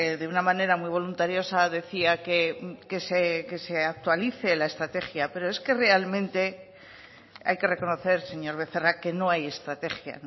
de una manera muy voluntariosa decía que se actualice la estrategia pero es que realmente hay que reconocer señor becerra que no hay estrategia